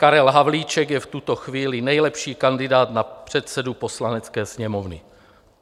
Karel Havlíček je v tuto chvíli nejlepší kandidát na předsedu Poslanecké sněmovny.